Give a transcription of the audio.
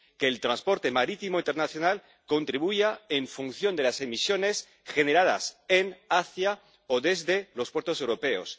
que el transporte marítimo internacional contribuya en función de las emisiones generadas en, hacia o desde los puertos europeos